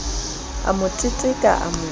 a mo teteka a mo